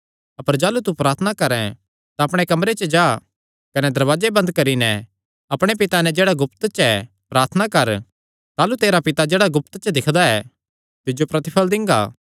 अपर जाह़लू तू प्रार्थना करैं तां अपणे कमरे च जा कने दरवाजे बंद करी नैं अपणे पिता नैं जेह्ड़ा गुप्त च ऐ प्रार्थना कर ताह़लू तेरा पिता जेह्ड़ा गुप्त च दिक्खदा ऐ तिज्जो प्रतिफल़ दिंगा